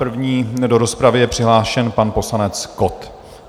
První do rozpravy je přihlášen pan poslanec Kott.